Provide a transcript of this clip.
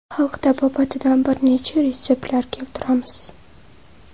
Xalq tabobatidan bir necha retseptlar keltiramiz.